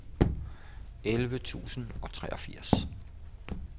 elleve tusind og treogfirs